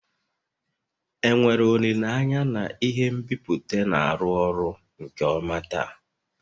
enwere olile anya na ihe nbipute na-arụ ọrụ nke ọma taa?